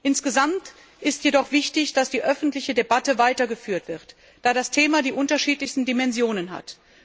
Insgesamt ist jedoch wichtig, dass die öffentliche Debatte weitergeführt wird, da das Thema die unterschiedlichsten Dimensionen hat.